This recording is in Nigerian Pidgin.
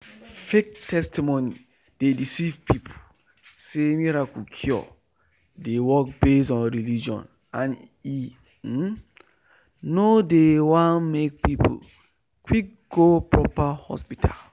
fake testimony dey deceive people say miracle cure dey work based on religion and e um no dey won make people quick go proper hospital.